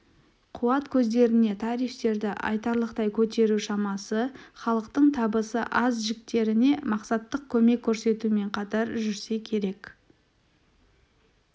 қуат көздеріне тарифтерді айтарлықтай көтеру шамасы халықтың табысы аз жіктеріне мақсаттық көмек көрсетумен қатар жүрсе керек